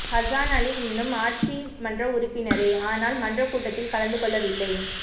Hassan Ali இன்னும் ஆட்சி மன்ற உறுப்பினரே ஆனால் மன்றக் கூட்டத்தில் கலந்து கொள்ளவில்லை